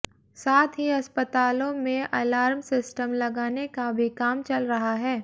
साथ ही अस्पतालों में अलार्म सिस्टम लगाने का भी काम चल रहा है